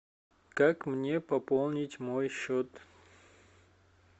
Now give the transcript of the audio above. как мне пополнить мой счет